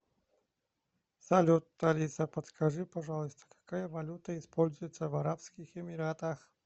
салют алиса подскажи пожалуйста какая валюта используется в арабских эмиратах